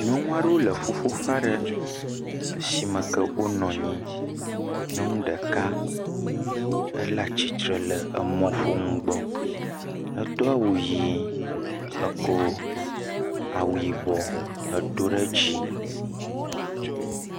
Nyɔnu aɖewo le ƒuƒoƒe aɖe. Eshime me ke wonɔ nyi, nyɔnu ɖeka ele atsitre le emɔƒonu gbɔ. Edo awu yii, ekɔ awu yibɔ edo ɖe edzi.